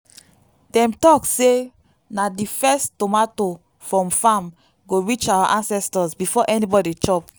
dem talk say na the first tomato from farm go reach our ancestors before anybody chop.